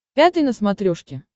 пятый на смотрешке